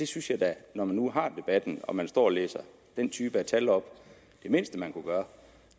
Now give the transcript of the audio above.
synes da når vi nu har debatten og man står og læser den type tal op at det mindste man kunne gøre